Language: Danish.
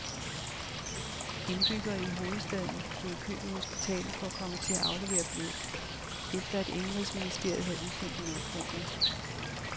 Indbyggere i hovedstaden stod i kø ved hospitalet for at komme til at aflevere blod, efter at indenrigsministeriet havde udsendt en opfordring.